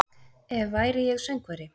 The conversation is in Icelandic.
Ef væri ég söngvari